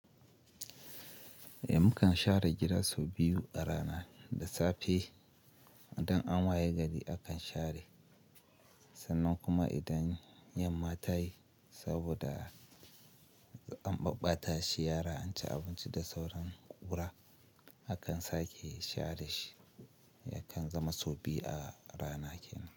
Mu kan share gida sau biyu a rana, da safe idan an wayi gari akan share, sannan kuma idan yamma ta yi saboda an ɓabbata shi yara an ci abinci da sauran ƙura akan sake share shi yakan zama sau biyu a rana kenan.